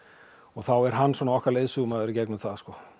og þá er hann svona okkar leiðsögumaður í gegnum það